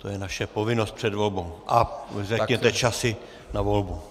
To je naše povinnost před volbou a řekněte časy na volbu.